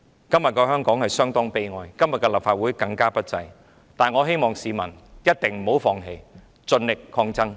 今天的香港相當悲哀，今天的立法會更不濟，但我希望市民一定不要放棄，盡力抗爭。